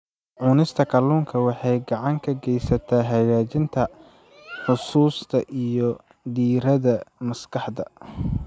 Cunista kalluunka waxay gacan ka geysataa hagaajinta xusuusta iyo diiradda maskaxda.